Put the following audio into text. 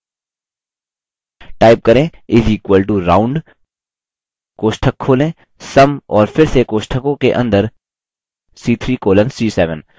type करें is equal to round कोष्ठक खोलें sum और फिर से कोष्ठकों के अंदर c3 colon c7